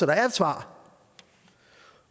der er et svar